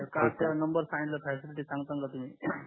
त्याला नंबर सांगला साहेब किती चांगल संगता साहेब तुम्ही